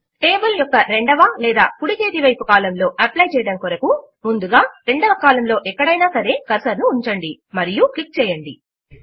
table యొక్క రెండవ లేదా కుడి చేతి వైపు కాలమ్ లో అప్లై చేయడము కొరకు ముందుగా రెండవ కాలమ్ లో ఎక్కడైనా సరే కర్సర్ ను ఉంచండి మరియు క్లిక్ చేయండి